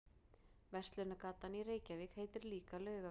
Verslunargatan í Reykjavík heitir líka Laugavegur.